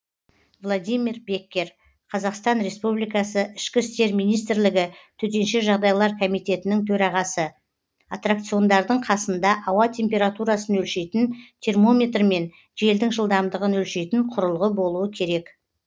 владимир беккер қазақстан республикасы ішкі істер министрлігі төтенше жағдайлар комитетінің төрағасы атракциондардың қасында ауа температурасын өлшейтін термометр мен желдің жылдамдығын өлшейтін құрылғы болуы керек